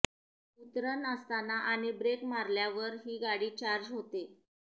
उतरन असताना आणि ब्रेक मारल्यावर ही गाडी चार्ज होते